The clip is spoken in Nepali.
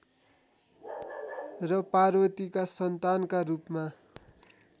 र पार्वतीका सन्तानका रूपमा